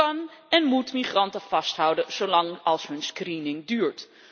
Je kan en moet migranten vasthouden zolang als hun screening duurt.